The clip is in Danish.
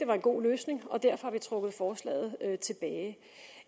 var en god løsning og derfor har vi trukket forslaget tilbage